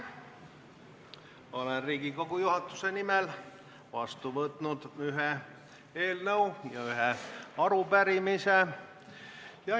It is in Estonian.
Olen Riigikogu juhatuse nimel vastu võtnud ühe eelnõu ja ühe arupärimise.